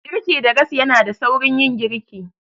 Girki da gas yanada saurin yin girki.